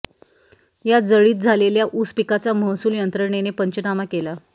या जळीत झालेल्या ऊस पिकाचा महसूल यंत्रणेने पंचनामा केला